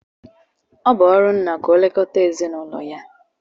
Ọ bụ ọrụ nna ka ọ na-elekọta ezinụlọ ya